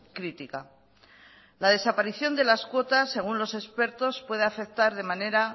crítica la desaparición de las cuotas según los expertos puede afectar de manera